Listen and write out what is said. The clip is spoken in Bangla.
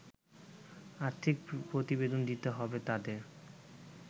আর্থিক প্রতিবেদন দিতে হবে তাদের